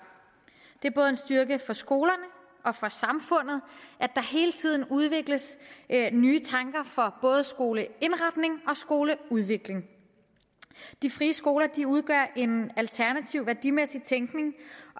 det er en styrke både for skolerne og for samfundet at der hele tiden udvikles nye tanker for både skoleindretning og skoleudvikling de frie skoler udgør en alternativ værdimæssig tænkning